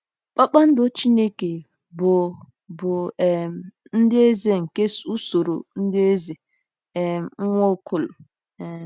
"Kpakpando Chineke" bụ bụ um ndị eze nke usoro ndị eze um Nwaokolo. um